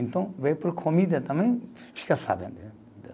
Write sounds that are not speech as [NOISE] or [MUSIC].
Então veio por comida também, fica sabendo. [UNINTELLIGIBLE]